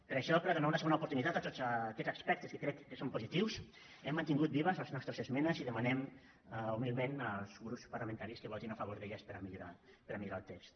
per això per a donar una segona oportunitat a tots aquests aspectes que crec que són positius hem mantingut vives les nostres esmenes i demanem humilment als grups parlamentaris que votin a favor d’elles per a millorar per a millorar el text